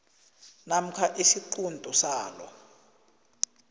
namkha isiquntu salo